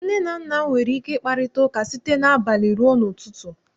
Nne na nna m nwere ike ịkparịta ụka site n'abalị rue ụtụtụ.